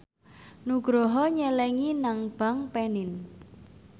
Nugroho nyelengi nang bank panin